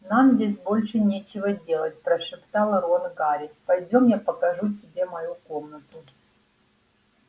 нам здесь больше нечего делать прошептал рон гарри пойдём я покажу тебе мою комнату